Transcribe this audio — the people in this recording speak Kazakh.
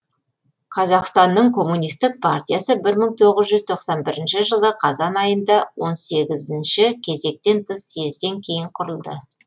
қазақстанның коммунистік партиясы бір мың тоғыз тоқсан бірінші жылы қазан айында он сегізінші кезектен тыс съезден кейін құрылды